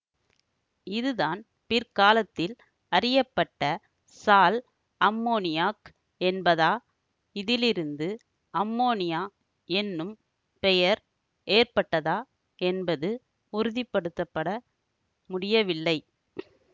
இதுதான் பிற்காலத்தில் அறியப்பட்ட சால்அம்மொனியாக் என்பதா இதிலிருந்து அம்மோனியா என்னும் பெயர் ஏற்பட்டதா என்பது உறுதிப்படுத்தபட முடியவில்லை